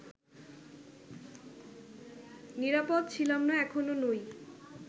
নিরাপদ ছিলাম না, এখনও নই